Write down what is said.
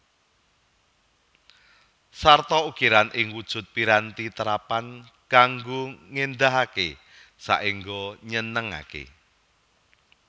Sarta ukiran ing wujud piranti terapan kanggo ngéndahaké saéngga nyenengaké